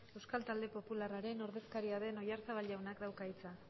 euskal talde popularraren ordezkaria den oyarzabal jaunak dauka hitza